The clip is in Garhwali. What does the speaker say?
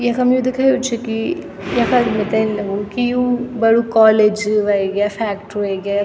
यखम यु दिखयुं च की यखा मेंथे इन लगणु की यु बडू कॉलेज वेग्या फैक्ट्री वेग्या।